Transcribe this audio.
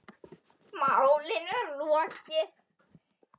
Málinu er lokið.